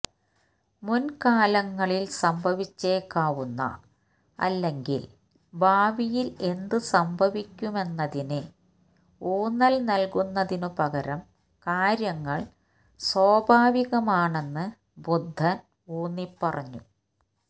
മുൻകാലങ്ങളിൽ സംഭവിച്ചേക്കാവുന്ന അല്ലെങ്കിൽ ഭാവിയിൽ എന്ത് സംഭവിക്കുമെന്നതിന് ഊന്നൽ നൽകുന്നതിനുപകരം കാര്യങ്ങൾ സ്വാഭാവികമാണെന്ന് ബുദ്ധൻ ഊന്നിപ്പറഞ്ഞു